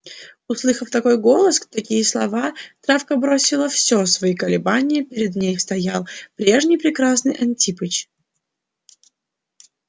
услыхав такой голос такие слова травка бросила всё свои колебания перед ней стоял прежний прекрасный антипыч